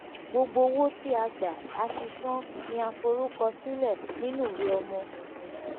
gbogbo owo ti a gba ati san ni a forukọ sile ninu iwe owo.